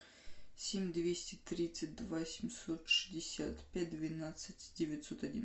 семь двести тридцать два семьсот шестьдесят пять двенадцать девятьсот один